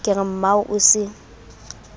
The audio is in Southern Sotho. ke re mmao o se